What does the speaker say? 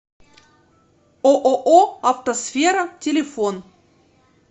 ооо автосфера телефон